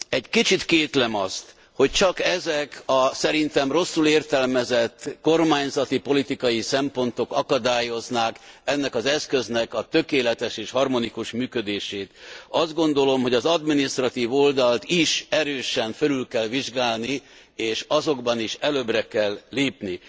Egy kicsit kétlem azt, hogy csak ezek a szerintem rosszul értelmezett kormányzati, politikai szempontok akadályoznák ennek az eszköznek a tökéletes és harmonikus működését. Azt gondolom, hogy az adminisztratív oldalt is erősen fölül kell vizsgálni és azokban is előre kell lépni,